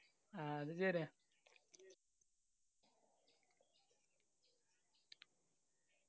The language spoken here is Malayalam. അത് ശെരിയാണ്